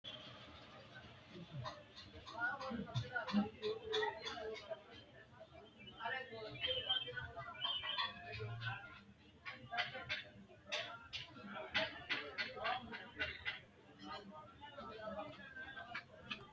Lekkate koatte mannu hasiri garinni lekkasi bikkinni hidhe wodha faayyate, koiti koira ikka hooga dandiittano koatete quxure woyi kiiro ise giddo biifisira hasiisanonke yanna yanna agarre.